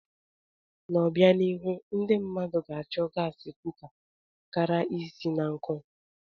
N'obianihu, ndị mmadụ ga-achọ gaasi kuka kara isi na nkụ.